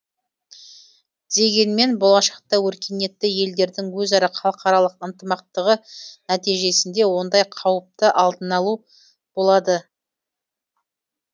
дегенмен болашақта өркениетті елдердің өзара халықаралық ынтымақтығы нәтижесінде ондай қауіптің алдын алу болады